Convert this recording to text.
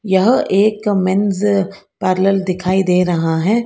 यह एक men's parlour दिखाई दे रहा हैं।